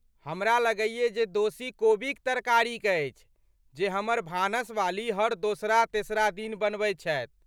हमरा लगैयै जे दोषी कोबीक तरकारी अछि जे हमर भानसवाली हर दोसरा तेसरा दिन बनबैत छथि।